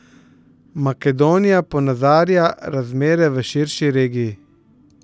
Makedonija ponazarja razmere v širši regiji.